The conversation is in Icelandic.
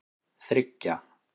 þriggja